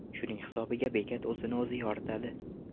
Shuning hisobiga bekat o‘zini-o‘zi yoritadi.